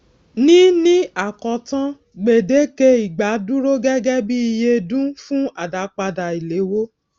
ní ní àkótán gbèdéke ìgbà dúró gégé bí iye dún fún àdápadà ìléwó